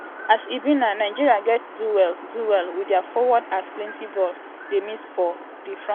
a s e be now nigeria gatz do well do well wit dia forward as plenti ball dey miss for um di frontline.